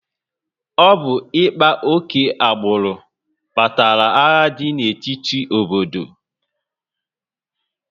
Ọ bụ ịkpa oke agbụrụ kpatara agha dị n'etiti obodo